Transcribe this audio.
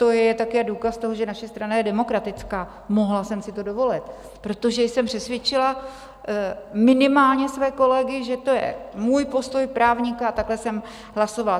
To je také důkaz toho, že naše strana je demokratická, mohla jsem si to dovolit, protože jsem přesvědčila minimálně své kolegy, že to je můj postoj právníka a takhle jsem hlasovala.